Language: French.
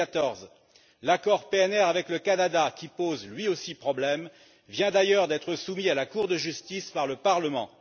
2014. L'accord PNR avec le Canada, qui pose lui aussi problème, vient d'ailleurs d'être renvoyé devant la Cour de justice par le Parlement.